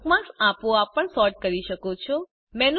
તમે બુકમાર્ક્સ આપોઆપ પણ સૉર્ટ કરી શકો છો